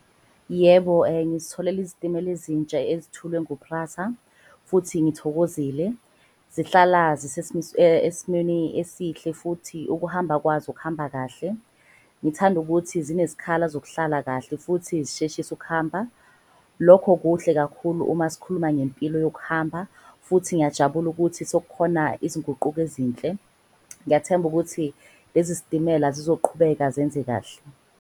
Yebo, ngizitholele izitimela ezintsha ezithulwe ngu-PRASA futhi ngithokozile zihlala esimweni esihle futhi ukuhamba kwazo kuhamba kahle. Ngithanda ukuthi zinezikhala zokuhlala kahle futhi zisheshise ukuhamba. Lokho kuhle kakhulu uma sikhuluma ngempilo yokuhamba futhi ngiyajabula ukuthi sekukhona izinguquko ezinhle. Ngiyathemba ukuthi lezi zitimela zizoqhubeka zenze kahle.